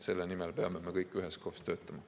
Selle nimel peame me kõik üheskoos töötama.